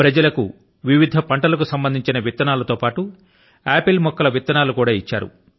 ప్రజల కు వివిధ పంటల కు సంబంధించిన విత్తనాలతో పాటు ఆపిల్ మొక్కల విత్తనాలను కూడా ఆమె ఇచ్చారు